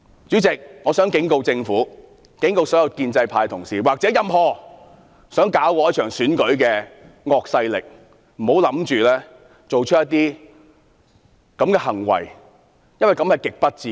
主席，我想警告政府、所有建制派同事及任何想破壞這場選舉的惡勢力，不要做出這些行為，這是極不智的。